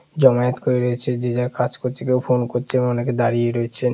জামায়েত করে রয়েছে। যে যার কাজ করছে কে ও ফোন করছে। অনেকে দাঁড়িয়ে রয়েছেন।